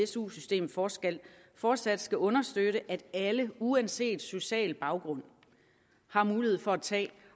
su systemet fortsat fortsat skal understøtte at alle uanset social baggrund har mulighed for at tage